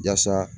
Yasa